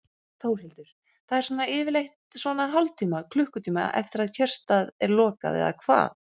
Þórhildur: Það er svona yfirleitt svona hálftíma, klukkutíma eftir að kjörstað er lokað eða hvað?